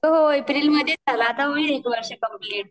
हो एप्रिल मध्येच झालं आता होईल एक वर्ष कम्लीट